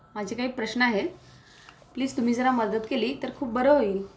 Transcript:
माझे काही प्रश्न आहेत प्लीज तुम्ही जरा मदत केली तर खूप बरे होईल